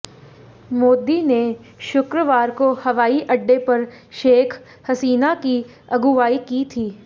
मोदी ने शुक्रवार को हवाईअड्डे पर शेख हसीना की अगुवाई की थी